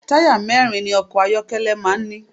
Táyà mẹ́rin ni ọkọ̀ ayọ́kẹ́lẹ́ máa ń ní.